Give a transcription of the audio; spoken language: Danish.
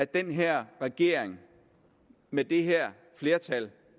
den her regering med det her flertal